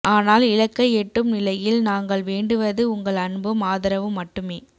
ஆனால் இலக்கை எட்டும் நிலையில் நாங்கள் வேண்டுவது உங்கள் அன்பும் ஆதரவும் மட்டுமே